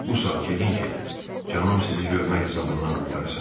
Bu saat gedin ki, canım sizi görmək əzabından qurtarsın.